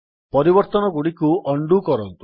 ପରିବର୍ତ୍ତନଗୁଡ଼ିକୁ undo କରନ୍ତୁ